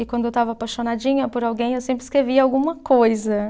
E quando eu estava apaixonadinha por alguém, eu sempre escrevia alguma coisa.